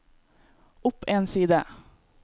opp en side